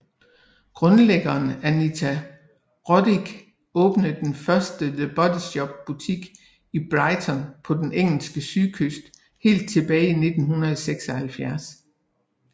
Grundlæggeren Anita Roddick åbnede den første The Body Shop butik i Brighton på den engelske sydkyst helt tilbage i 1976